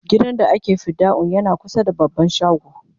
gidan da ake fidda'un yana kusa da baban shago